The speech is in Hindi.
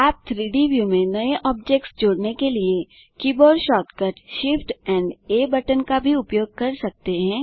आप 3Dव्यू में नए ऑब्जेक्ट्स जोड़ने के लिए कीबोर्ड शॉर्टकट shift एएमपी आ बटन का भी उपयोग कर सकते हैं